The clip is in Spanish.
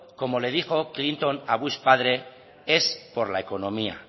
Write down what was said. como le dijo clinton a bush padre es por la economía